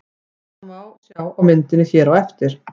Þetta má sjá á myndinni hér á eftir.